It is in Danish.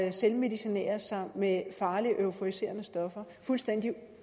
at selvmedicinere sig med farlige euforiserende stoffer fuldstændig